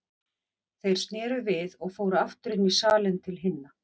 Þeir sneru við og fóru aftur inn í salinn til hinna.